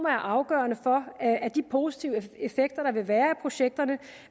er afgørende for at de positive effekter der vil være af projekterne